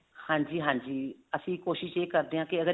ਹਾਂਜੀ ਹਾਂਜੀ ਅਸੀਂ ਕੋਸ਼ਿਸ਼ ਇਹ ਕਰਦੇ ਹਾਂ ਕਿ ਅਗਰ